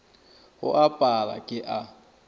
go a pala ke a